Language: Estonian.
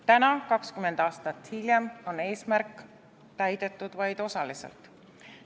Täna, 20 aastat hiljem, on eesmärk täidetud vaid osaliselt.